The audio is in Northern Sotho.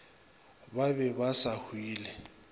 ba be ba sa hwele